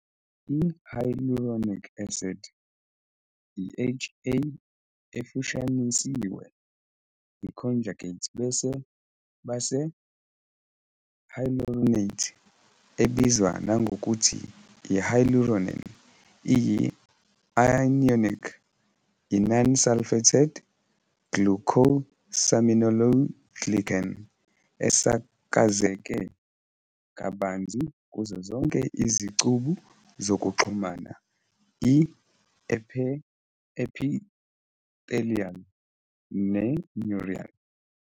I-Hyaluronic acid i-HA efushanisiwe, i-conjugate base hyaluronate, ebizwa nangokuthi i-hyaluronan, iyi-anionic, i-non-sulfated glycosaminoglycan esakazeke kabanzi kuzo zonke izicubu zokuxhuma, i-epithelial, ne-neural.